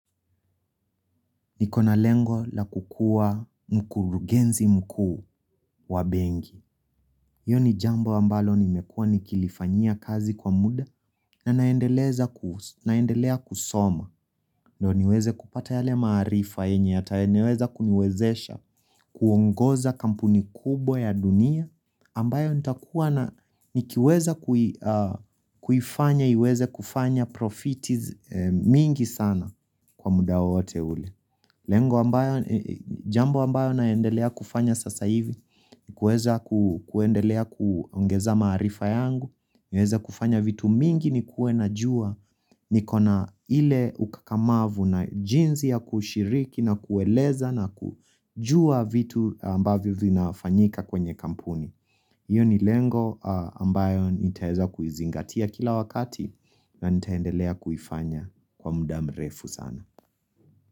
Nikona lengo la kukua mkurugenzi mkuu wa bengi. Yoni jambo ambalo nimekua nikilifanyia kazi kwa muda na naendelea kusoma. Ndo niweze kupata yale maarifa enye, ata eneweza kuniwezesha kuongoza kampuni kubo ya dunia. Ambayo nitakuwa na nikiweza kufanya, iweze kufanya profiti mingi sana kwa muda wote ule. Lengo ambayo, jambo ambayo naendelea kufanya sasa hivi, ni kueza kuendelea kuongeza maarifa yangu, ni kueza kufanya vitu mingi ni kue na jua ni kona ile ukakamavu na jinzi ya kushiriki na kueleza na kujua vitu ambavyo vinafanyika kwenye kampuni. Iyo ni lengo ambayo nitaeza kuizingatia kila wakati na nitaendelea kufanya kwa muda mrefu sana.